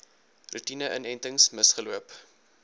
roetine inentings misgeloop